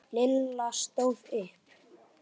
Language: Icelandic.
Lilla stóð upp.